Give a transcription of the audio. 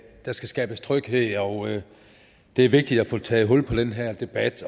der skal skabes tryghed og at det er vigtigt at få taget hul på den her debat